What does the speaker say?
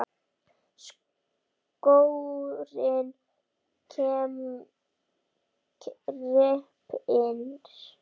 Skórinn kreppir